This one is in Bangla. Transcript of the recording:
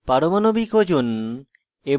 পারমাণবিক ওজন এবং